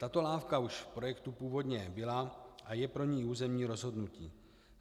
Tato lávka už v projektu původně byla a je pro ni územní rozhodnutí.